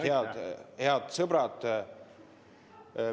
Head sõbrad!